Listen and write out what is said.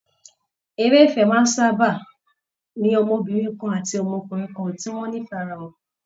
Eré ìfẹ́ máa ń sábà ní ọmọbìnrin kan ati ọmọbìnrin kan tí wọ́n nífẹ̀ẹ́ ara wọn